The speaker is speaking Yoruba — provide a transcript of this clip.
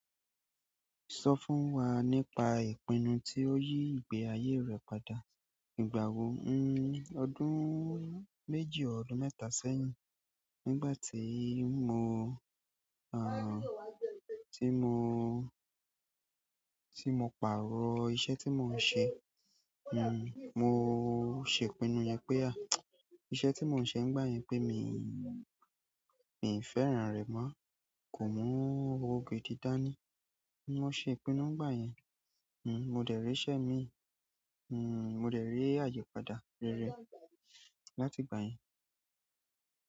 Sọ fún wa nípa ìpinnu tí o yí ìgbé ayé rẹ padà. Ìgbà wo? Ọdún méjì ọdún mẹ́ta sẹ́yìn, nígbà tí mo, tí mo, tí mo pàrọ̀ iṣẹ́ tí mò ń ṣe mo se ìpinnu yen pe ah, iṣẹ́ ti mo n se n gba yen pe mi n, mi n fẹ́ràn re mo, ko mu owo gidi da ni mo ṣe ìpinnu nígbà yẹn. Mo dẹ̀ rí iṣẹ́ mi, mo dẹ̀ rí àyípadà rere láti ìgbà yẹn.